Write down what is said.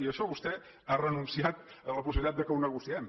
i això vostè ha renunciat a la possibilitat que ho negociem